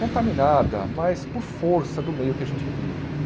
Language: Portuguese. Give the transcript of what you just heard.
contaminada, mais por força do meio que a gente vive.